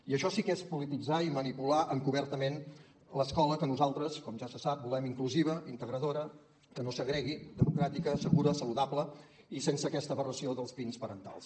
i això sí que és polititzar i manipular encobertament l’escola que nosaltres com ja se sap volem inclusiva integradora que no segregui demo·cràtica segura saludable i sense aquesta aberració dels pins parentals